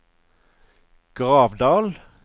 Gravdal